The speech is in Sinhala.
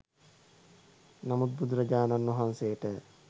නමුත් බුදුරජාණන් වහන්සේට